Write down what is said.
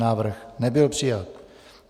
Návrh nebyl přijat.